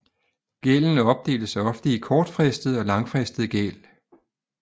Gælden opdeles ofte i kortfristet og langfristet gæld